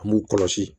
An b'u kɔlɔsi